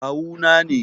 Kawu na ne.